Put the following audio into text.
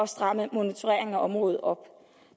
stramme monitoreringen af området op